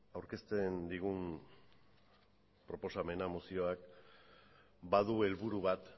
aurkezten digun proposamena mozioak badu helburu bat